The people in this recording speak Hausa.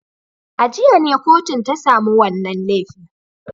A jiya ne kotun ta samu wannan laifin.